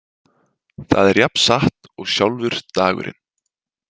Það er jafn satt og sjálfur dagurinn.